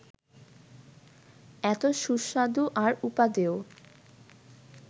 এত সুস্বাদু আর উপাদেয়